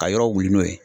Ka yɔrɔ wuli n'o ye